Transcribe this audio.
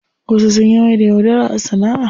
Wasu sun maida yaudara sana'a.